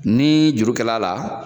Ni juru kɛl'a la,